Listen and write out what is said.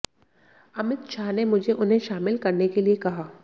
अमित शाह ने मुझे उन्हें शामिल करने के लिए कहा